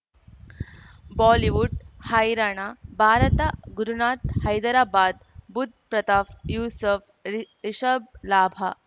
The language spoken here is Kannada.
ಬಾಲಿವುಡ್ ಹೈರಾಣ ಭಾರತ ಗುರುನಾಥ್ ಹೈದರಾಬಾದ್ ಬುಧ್ ಪ್ರತಾಪ್ ಯೂಸುಫ್ ರಿ ರಿಷಬ್ ಲಾಭ